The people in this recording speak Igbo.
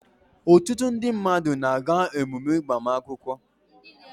ọtụtụ mmadụ na-aga emume agbamakwụkwọ